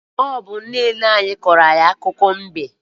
Ọ bụ nne nna anyị kọrọ anyị akụkọ mbe.